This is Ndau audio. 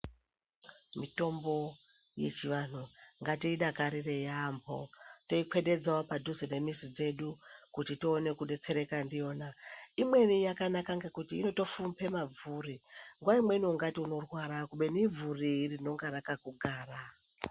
Mitombo yechi vanhu ngatiyi dakarire yambo toyi kwededzawo padhuze ne mizi dzedu kuti tione ku detsereka ndiyona imweni yakanaka ngekuti inoto fumbe mabvuri nguva imweni ungati unorwara kubeni ibvuri rinonga rakaku gara.